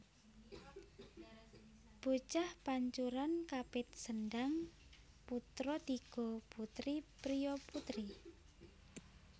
Bocah pancuran kapit sendhang putra tiga putri priya putri